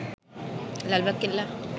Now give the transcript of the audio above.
Lalbagh Qila